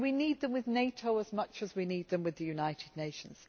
We need them with NATO as much as we need them with the United Nations.